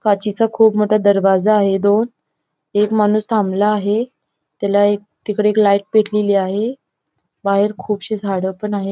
काचेचा खूप मोठा दरवाजा आहे दोन एक माणूस थांबला आहे त्याला एक तिकडे एक लाईट पटलेली आहे बाहेर खूपसे झाड पण आहेत.